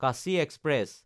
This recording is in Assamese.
কাশী এক্সপ্ৰেছ